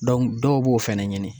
dɔw b'o fɛnɛ ɲini